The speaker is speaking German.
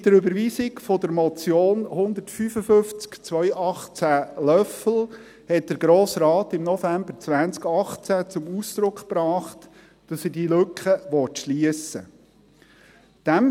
Mit der Überweisung der Motion 155-2018, Löffel, hat der Grosse Rat im November 2018 zum Ausdruck gebracht, dass er diese Lücke schliessen will.